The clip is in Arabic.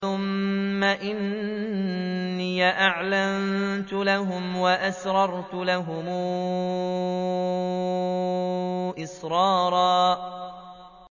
ثُمَّ إِنِّي أَعْلَنتُ لَهُمْ وَأَسْرَرْتُ لَهُمْ إِسْرَارًا